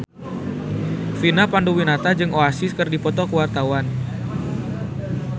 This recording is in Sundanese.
Vina Panduwinata jeung Oasis keur dipoto ku wartawan